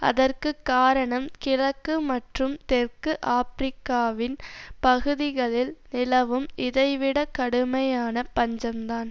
அதற்கு காரணம் கிழக்கு மற்றும் தெற்கு ஆப்பிரிக்காவின் பகுதிகளில் நிலவும் இதைவிட கடுமையான பஞ்சம் தான்